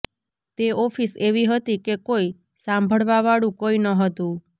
તે ઓફિસ એવી હતી કે કોઈ સાંભળવા વાળુ કોઈ ન હતું